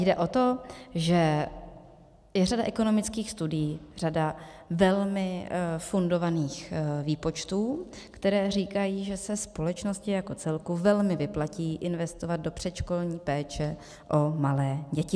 Jde o to, že je řada ekonomických studií, řada velmi fundovaných výpočtů, které říkají, že se společnosti jako celku velmi vyplatí investovat do předškolní péče o malé děti.